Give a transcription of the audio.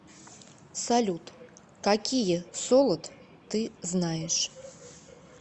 салют какие солод ты знаешь